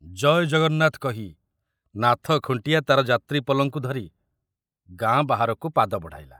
ଜୟ ଜଗନ୍ନାଥ କହି ନାଥ ଖୁଣ୍ଟିଆ ତାର ଯାତ୍ରୀ ପଲଙ୍କୁ ଧରି ଗାଁ ବାହାରକୁ ପାଦ ବଢ଼ାଇଲା।